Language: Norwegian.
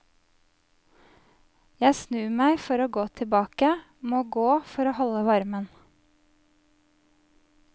Jeg snur meg for å gå tilbake, må gå for å holde varmen.